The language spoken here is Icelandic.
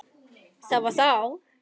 Það var þá.